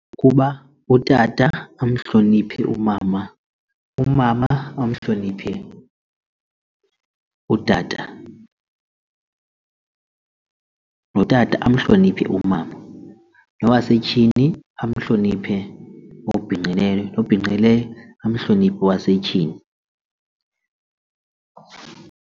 Ukuba utata amhloniphe umama, umama amhloniphe utata, notata amhloniphe umama, nowasetyhini amhloniphe obhinqileyo, obhinqileyo amhloniphe owasetyhini.